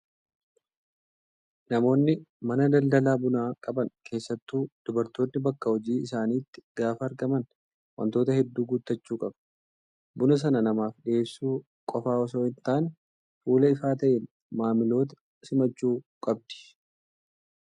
Namoonni mana daldala bunaa qaban keessattuu dubartoonni bakka hojii isaaniitti gaafa argaman wantoota hedduu guuttachuu qabu. Buna sana namaaf dhiyeessuu qofaa osoo hin taane, fuula ifaa ta'een maamiloota simachuu qabdi.